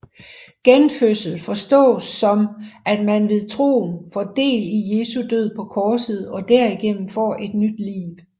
Genfødsel forstås som at man ved troen får del i Jesu død på korset og derigennem får et nyt liv